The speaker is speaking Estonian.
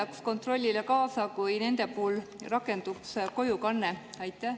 Kas kontrollile aitaks kaasa see, kui nende puhul rakenduks kojukanne?